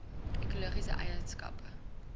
ekologiese eien skappe